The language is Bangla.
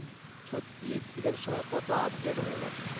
সত্যি এদের সময় কত upgrade হয়ে গেছে